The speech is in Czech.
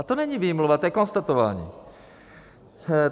A to není výmluva, to je konstatování.